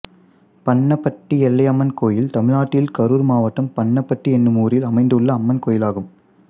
பண்ணப்பட்டி எல்லையம்மன் கோயில் தமிழ்நாட்டில் கரூர் மாவட்டம் பண்ணப்பட்டி என்னும் ஊரில் அமைந்துள்ள அம்மன் கோயிலாகும்